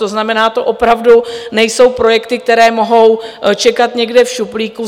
To znamená, to opravdu nejsou projekty, které mohou čekat někde v šuplíku.